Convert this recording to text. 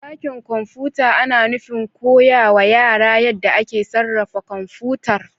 Dakin kwamfuta ana nufin koya wa yara yadda ake sarrafa kwamfutar